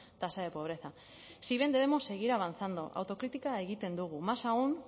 tasa de pobreza si bien debemos seguir avanzando autokritika egiten dugu más aún